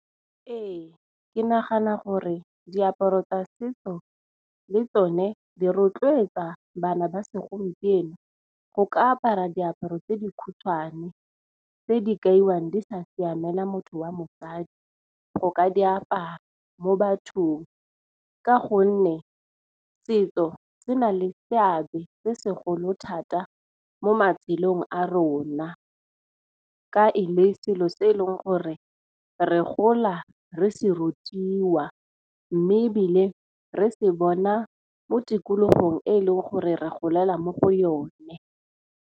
Ee ke nagana gore diaparo tsa setso le tsone di rotloetsa bana ba segompieno go ka apara diaparo tse di khutshwane tse di kaiwang di sa siamela motho wa mosadi go ka diaparo mo bathong. Ka gonne setso se na le seabe se segolo thata mo matshelong a rona, ka e le selo se e leng gore re re gola re se rutiwa, mme ebile re se bona mo tikologong e e leng gore re golela mo go yone.